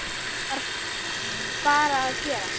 Það varð bara að gerast.